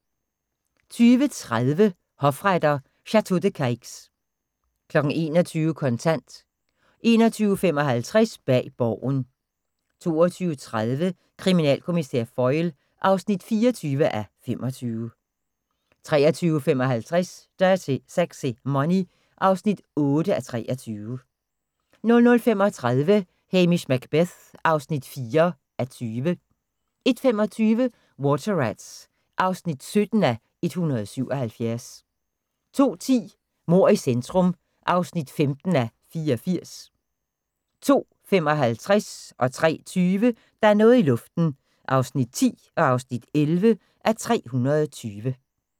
20:30: Hofretter: Château de Cayx 21:00: Kontant 21:55: Bag Borgen 22:30: Kriminalkommissær Foyle (24:25) 23:55: Dirty Sexy Money (8:23) 00:35: Hamish Macbeth (4:20) 01:25: Water Rats (17:177) 02:10: Mord i centrum (15:84) 02:55: Der er noget i luften (10:320) 03:20: Der er noget i luften (11:320)